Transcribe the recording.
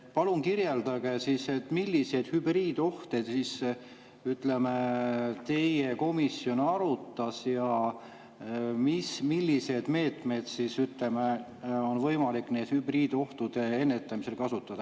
Palun kirjeldage, milliseid hübriidohte teie komisjon arutas ja milliseid meetmeid on võimalik nende hübriidohtude ennetamisel kasutada.